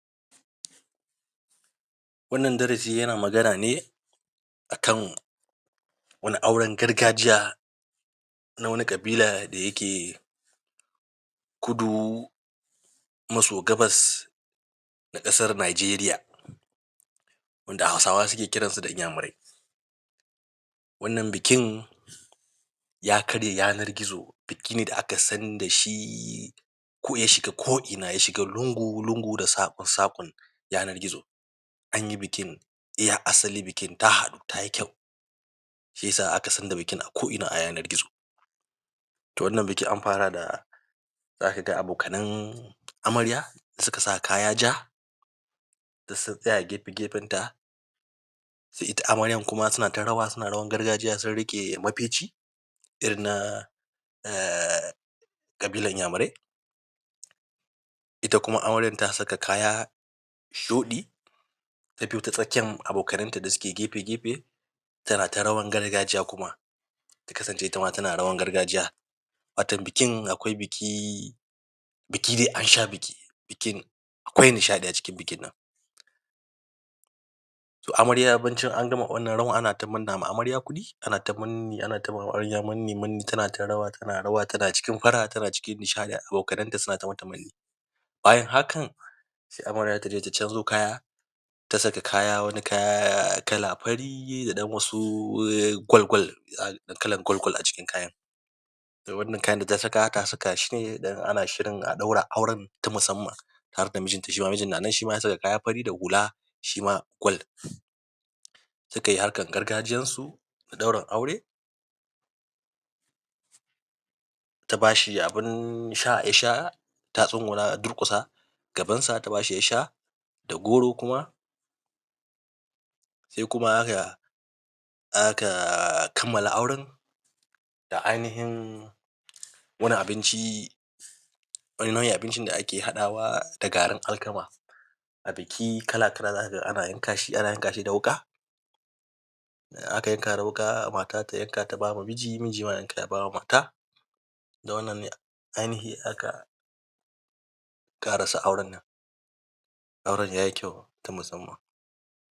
Wannan darasi yana magana ne a kan wani auren gargajiya na wani ƙabila da yake kudu maso gabas da ƙasar Najeriya wanda Hausawa suke kiransu da Inyamurai. wannan bikin, ya karya yana gizo, biki ne da aka san da shi, ko ya shiga ko'ina ya shiga lungu-lungu da saƙo yanar gizo an yi bikin iya asali bikin ta haɗu ta yi ƙyau. Shi ya sa a ka san da bikin a ko'ina a yanar gizo. To wannan biki an fara da da abokanan amarya da suka sa kaya ja duk sun tsaya gefe-gefenta. Sai ita amaryan kuma suna ta rawa suna rawar gargajiya sun riƙe mafici, irin na um ƙabilar inyamurai ita kuma amaryar ta saka kaya shuɗi ta biyo ta tsakiyan abokananta da suke gefe-gefe tana ta rawan gargajiya kuma ta kasance tana rawar gargaiya wato bikin akwai biki biki dai an sha biki, bikin Akwai nishaɗi a cikin bikin nan. To amarya bacin an gama wanna rawan ana manna ma amarya kuɗi ana ta manni ana ta ma amarya manni-manni tana ta rawa ana rawa tana cikin fara'a tana cikin nishaɗi abokanenta suna ta mata manni bayan hakan sai amarya ta je ta canjo kaya ta saka kaya wani kaya kala fari da ɗan wasu gwal-gwal. kalan gwal-gwal a cikin kayan da wannan kayan da ta saka ta saka shi ne don ana shirin a ɗaura auren ta musamman. Tare da mijinta, shi ma mijin na nan ya saka kaya fari da hula shi ma gwal. su kai harkar gargajiyansu ta ɗaurin aure ta ba shi abun sha ya sha ta duƙusa gabansa ta ba shi ya sha da goro kuma sai kuma ya aka kammala auren da ainihin wani abinci wani nau'in abincin da ake haɗawa da garin alkama abiki za ka ga kala-kala ana yanka shi, ana yanka shi da wuƙa. aka yanka da wuƙa mata ta yanka ta ba wa miji miji ma ya yanka ya ba ma mata da wannan ne ainihi aka ƙarasa auren nan auren ya yi kyau na musamman.